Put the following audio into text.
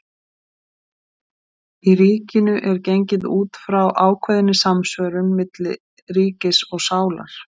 Í Ríkinu er gengið út frá ákveðinni samsvörun milli ríkis og sálar.